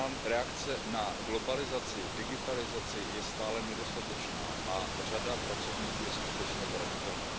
Reakce na globalizaci, digitalizaci je stále nedostatečná a řada pracovníků je skutečně zranitelná.